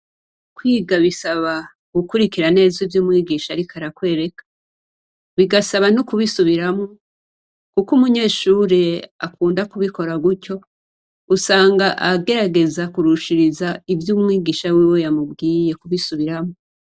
Kwiga bisaba gukurikira neza ivyo umwigisha ariko arakwereka bigasaba no kubisubiramwo, uko umunyeshure akunda kubikora gutyo usanga agerageza kurushiriza ivyo umwigisha wiwe yamubwiye kubisubiramwo.